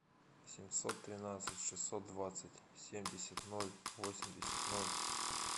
семьсот тринадцать шестьсот двадцать семьдесят ноль восемьдесят ноль